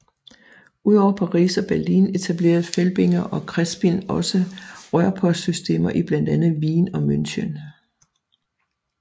Udover Paris og Berlin etablerede Felbinger og Crespin også rørpostsystemer i blandt andet Wien og München